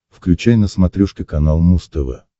включай на смотрешке канал муз тв